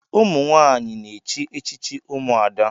ụmụnwanyị na-echi echichi ụmụada